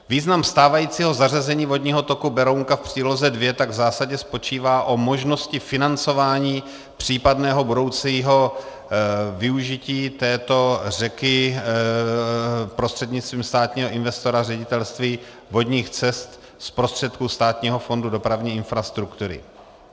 Význam stávajícího zařazení vodního toku Berounka v příloze 2 tak v zásadě spočívá o možnosti financování případného budoucího využití této řeky prostřednictvím státního investora Ředitelství vodních cest z prostředků Státního fondu dopravní infrastruktury.